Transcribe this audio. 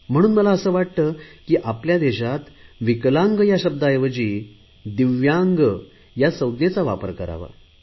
म्हणून मला असे वाटले की आपल्या देशात विकलांग या शब्दाऐवजी दिव्यांग या संज्ञेचा वापर करावा